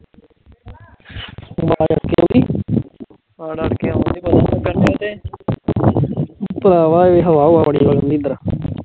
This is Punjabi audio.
ਭਰਾਵਾਂ ਏ ਹਵਾ ਹੁਵਾ ਬੜੀ ਆਉਂਦੀ